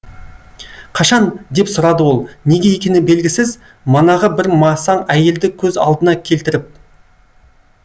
қашан деп сұрады ол неге екені белгісіз манағы бір масаң әйелді көз алдына келтіріп